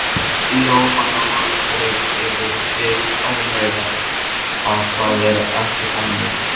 Jóhanna Margrét: Eruð þið ánægðar að það er ekki þannig?